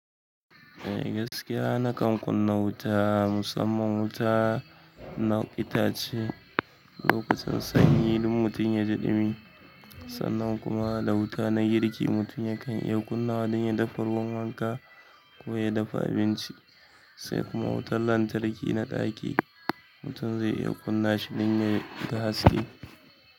Eh gaskiya na kan kunna wuta, musamman wuta na itace lokacin sanyi don mutum ya ji ɗumi. Sannan kuma da wuta na girki mutum yakan iya kunna don ya dafa ruwan wanka ko ya dafa abinci. Sai kuma wutar lantarki na ɗaki, mutum zai iya kunna shi don ya yi ga haske.